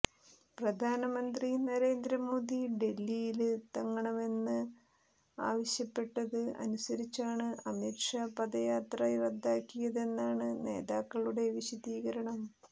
പ്രധാനമന്ത്രി നരേന്ദ്ര മോദി ഡല്ഹിയില് തങ്ങണമെന്ന് ആവശ്യപ്പെട്ടത് അനുസരിച്ചാണ് അമിത് ഷാ പദയാത്ര റദ്ദാക്കിയതെന്നാണ് നേതാക്കളുടെ വിശദീകരണം